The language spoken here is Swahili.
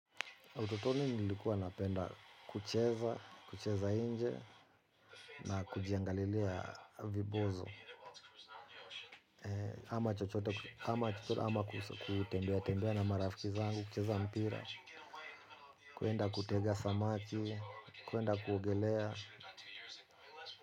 Utotoni nilikuwa napenda kucheza, kucheza nje na kujiangalilia vibozo. Ama chochote, ama kutembea tembea na marafiki zangu, kucheza mpira, kwenda kutega samachi, kwenda kuogelea.